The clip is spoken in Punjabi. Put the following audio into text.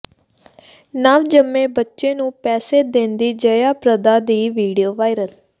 ਨਵ ਜਨਮੇ ਬੱਚੇ ਨੂੰ ਪੈਸੇ ਦਿੰਦੀ ਜਯਾ ਪ੍ਰਦਾ ਦੀ ਵੀਡੀਓ ਵਾਇਰਲ